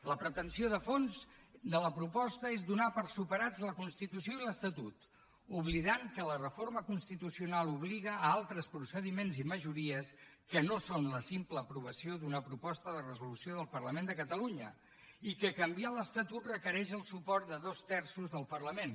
la pretensió de fons de la proposta és donar per superats la constitució i l’estatut oblidant que la reforma constitucional obliga a altres procediments i majories que no són la simple aprovació d’una proposta de resolució del parlament de catalunya i que canviar l’estatut requereix el suport de dos terços del parlament